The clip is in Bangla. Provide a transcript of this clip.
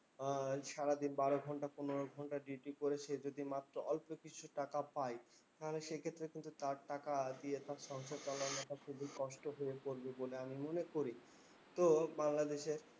আহ সারাদিন বারো ঘন্টা, পনেরো ঘন্টা duty করে সে যদি মাত্র অল্প কিছু টাকা পায়, তাহলে সেক্ষেত্রে কিন্তু তার টাকা দিয়ে তার সংসার চালানোটা খুবই কষ্ট হয়ে পরবে বলে আমি মনে করি। তো বাংলাদেশে